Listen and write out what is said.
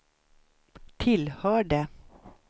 tillhörde